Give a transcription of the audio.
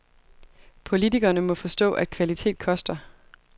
Politikerne må forstå, at kvalitet koster.